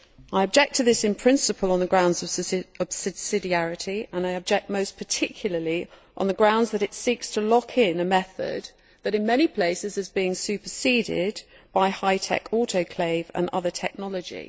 I object to this in principle on the grounds of subsidiarity and I object most particularly on the grounds that it seeks to lock in a method that, in many places, is being superseded by high tech autoclave and other technology.